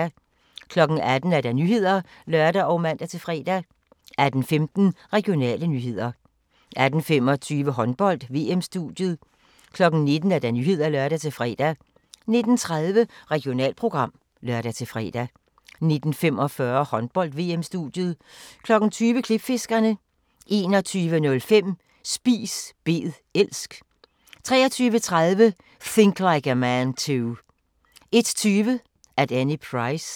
18:00: Nyhederne (lør og man-fre) 18:15: Regionale nyheder 18:25: Håndbold: VM-studiet 19:00: Nyhederne (lør-fre) 19:30: Regionalprogram (lør-fre) 19:45: Håndbold: VM-studiet 20:00: Klipfiskerne 21:05: Spis bed elsk 23:30: Think Like a Man Too 01:20: At Any Price